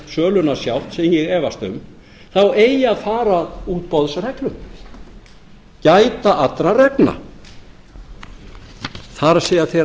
söluna sjálft sem ég efast um þá eigi að fara að útboðsreglum gæta allra reglna það er þeirra